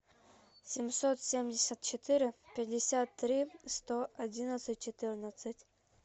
семьсот семьдесят четыре пятьдесят три сто одиннадцать четырнадцать